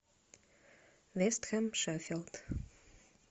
вест хэм шеффилд